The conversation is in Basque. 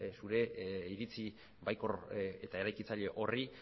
zure iritzi baikor eta eraikitzaile horri